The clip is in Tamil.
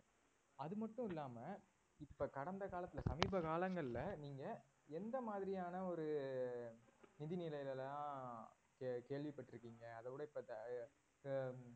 அதுமட்டும் இல்லாம இப்ப கடந்த காலத்துல சமீப காலங்கள்ல நீங்க எந்த மாதிரியான ஒரு நிதிநிலைலாம் கே~ கேள்விப்பட்டிருக்கீங்க அதைவிட இப்ப அஹ்